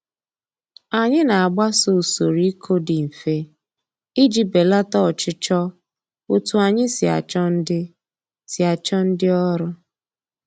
Anyị na-agbaso usoro ịkụ dị mfe iji belata ọchịchọ otu anyị si achọ ndị si achọ ndị ọrụ